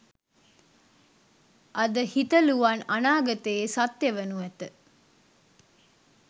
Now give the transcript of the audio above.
අද හිතලුවන් අනාගතයේ සත්‍ය වනු ඇත